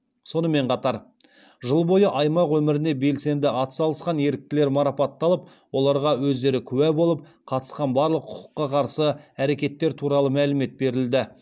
сонымен қатар жыл бойы аймақ өміріне белсенді атсалысқан еріктілер марапатталып оларға өздері куә болып қатысқан барлық құқыққа қарсы әрекеттер туралы мәлімет берілді